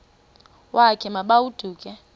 wakhe ma baoduke